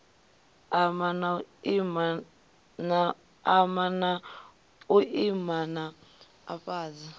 ama na u iman afhadza